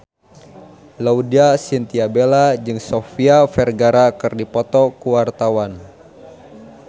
Laudya Chintya Bella jeung Sofia Vergara keur dipoto ku wartawan